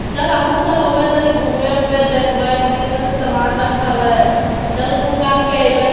चल हमहू सब होबै तनी घुममे वुममे देखबै कित्ते कित्ते सामान रखल है चल घूम घाम के अइबै--